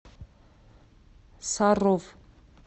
саров